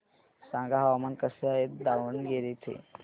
सांगा हवामान कसे आहे दावणगेरे चे